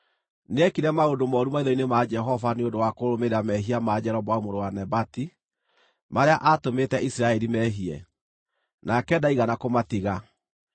Nĩekire maũndũ mooru maitho-inĩ ma Jehova nĩ ũndũ wa kũrũmĩrĩra mehia ma Jeroboamu mũrũ wa Nebati, marĩa aatũmĩte Isiraeli meehie, nake ndaigana kũmatiga.